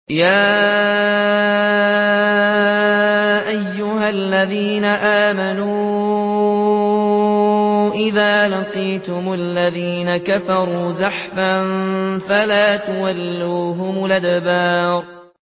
يَا أَيُّهَا الَّذِينَ آمَنُوا إِذَا لَقِيتُمُ الَّذِينَ كَفَرُوا زَحْفًا فَلَا تُوَلُّوهُمُ الْأَدْبَارَ